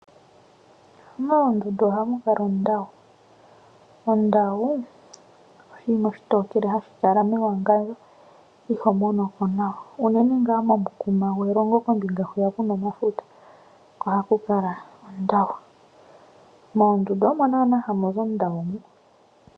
Moondundu ohamu kala ondawu . Ondawu oshinima oshitokele hashi kala mewangandjo . Iho monomo nawa unene ngaa kombinga hwiya kuna omafuta ohaku kala ondawu. Moondundu omo naanaa hamu zi ondawu.